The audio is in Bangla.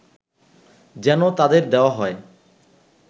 যেন তাদের দেওয়া হয়